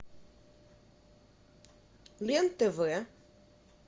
лен тв